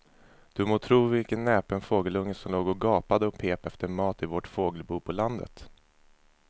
Du må tro vilken näpen fågelunge som låg och gapade och pep efter mat i vårt fågelbo på landet.